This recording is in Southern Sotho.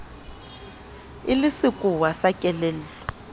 e le sekowa sa kelello